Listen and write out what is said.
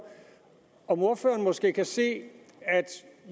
om ordføreren måske kan se at